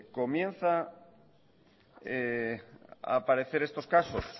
comienzan a aparecer estos casos